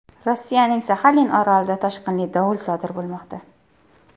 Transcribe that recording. Rossiyaning Saxalin orolida toshqinli dovul sodir bo‘lmoqda.